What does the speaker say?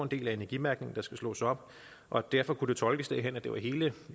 del af energimærkningen der skulle slås op og derfor kunne det tolkes derhen at det var hele